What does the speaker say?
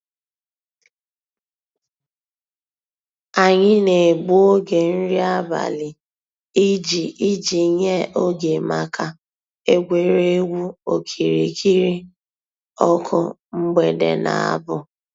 Ànyị̀ nà-ègbù ògè nrí àbàlị̀ íjì íjì nyè ògè mǎká ègwè́régwụ̀ òkìrìkìrì ǒkụ̀ mgbèdè nà àbụ̀.